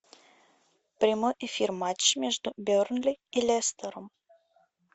прямой эфир матч между бернли и лестером